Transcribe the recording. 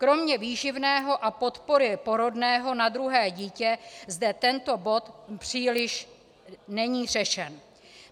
Kromě výživného a podpory porodného na druhé dítě zde tento bod příliš není řešen.